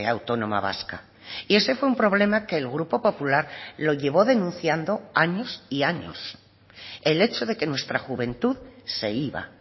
autónoma vasca y ese fue un problema que el grupo popular lo llevó denunciando años y años el hecho de que nuestra juventud se iba